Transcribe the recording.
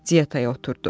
Diyetaya oturdu.